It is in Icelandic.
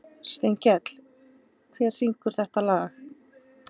Steinkell, hver syngur þetta lag?